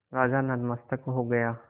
राजा नतमस्तक हो गया